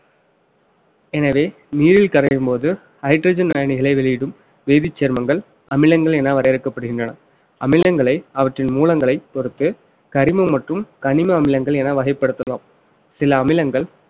எனவே நீரில் கரையும்போது hydrogen அயனிகளை வெளியிடும் வேதிச் சேர்மங்கள் அமிலங்கள் என வரையறுக்கப்படுகின்றன அமிலங்களை அவற்றின் மூலங்களைப் பொறுத்து கரிமம் மற்றும் கனிம அமிலங்கள் என வகைப்படுத்தலாம் சில அமிலங்கள்